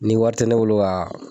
Ni wari te ne bolo ka